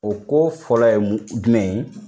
O ko fɔlɔ ye jumɛn ye?